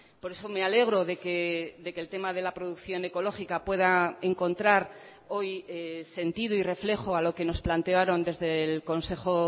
por eso me alegro de que el tema de la producción ecológica pueda encontrar hoy sentido y reflejo a lo que nos plantearon desde el consejo